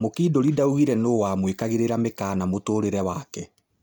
Mũkindũrĩ ndaugire nũũwamwĩkagĩrĩra mĩkana mũtũrĩre wake.